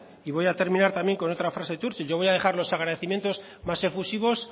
y voy a terminar también con otra frase de churchill yo voy a dejar los agradecimiento más efusivos